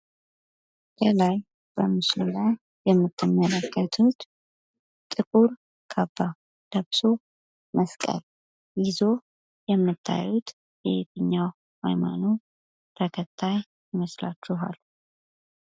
ከላይ በምስሉ ላይ የምትመለከቱት ጥቁር ካባ ለብሶ መስቀል ይዞ የምታዩት የየትኛው ሀይማኖት ተከታይ ይመስላችኋል?